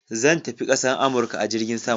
Zan tafi kasan Amurka a jirgin sama.